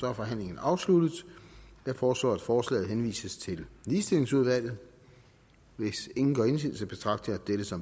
er forhandlingen afsluttet jeg foreslår at forslaget henvises til ligestillingsudvalget hvis ingen gør indsigelse betragter jeg dette som